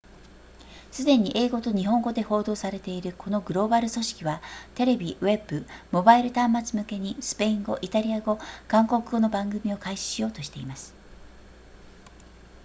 すでに英語と日本語で報道されているこのグローバル組織はテレビウェブモバイル端末向けにスペイン語イタリア語韓国語の番組を開始しようとしています